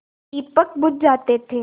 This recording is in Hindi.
दीपक बुझ जाते थे